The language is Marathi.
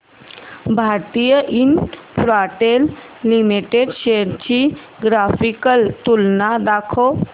भारती इन्फ्राटेल लिमिटेड शेअर्स ची ग्राफिकल तुलना दाखव